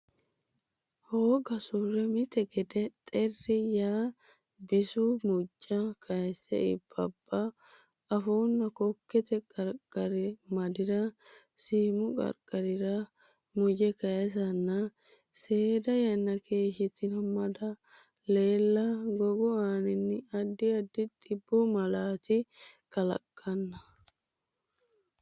hooga surre mite gede xerri yaa bisu mujja kayse iibbabba afuunna kokkete qarqari madi ra siimu qarqarira muje kaysanna seeda yanna keeshshitanno mada leella gogu aanaanni addi addi dhibbu malaati kalaqamanna.